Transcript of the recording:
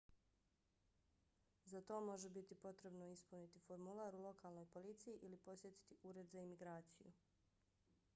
za to može biti potrebno ispuniti formular u lokalnoj policiji ili posjetiti ured za imigraciju